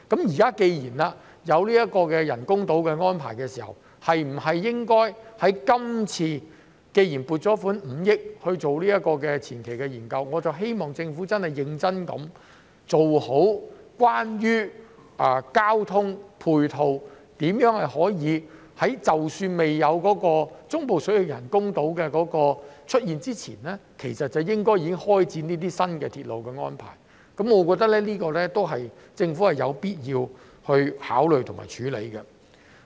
現時既然有人工島的計劃，而我們亦已撥款5億元進行前期研究，我希望政府認真研究在交通配套方面，如何可以在中部水域人工島未建成之前，便開始為這些新鐵路作出安排，我認為這是政府有必要考慮和處理的。